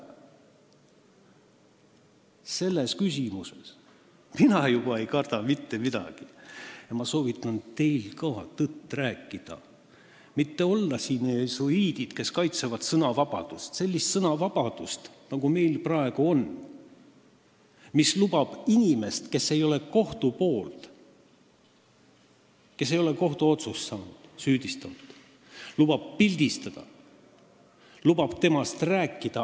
Selles küsimuses ei karda mina midagi ja soovitan ka teil tõtt rääkida, mitte olla siin jesuiidid, kes kaitsevad sõnavabadust – sellist sõnavabadust, nagu meil praegu on, mis lubab inimest, kes ei ole kohtuotsust saanud, süüdistada, pildistada, temast aastaid rääkida.